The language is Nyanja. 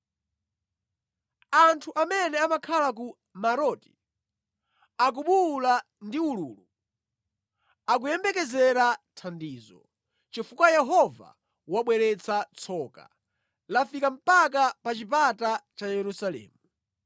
Anthu amene amakhala ku Maroti akubuwula ndi ululu, akuyembekezera thandizo, chifukwa Yehova wabweretsa tsoka, lafika mpaka pa chipata cha Yerusalemu.